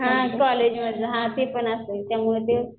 हां कॉलेज हां ते पण असेल त्यामुळे ते.